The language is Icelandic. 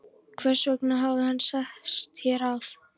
Hversvegna hafði hann sest hér að?